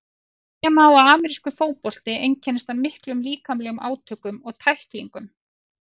Segja má að amerískur fótbolti einkennist af miklum líkamlegum átökum og tæklingum.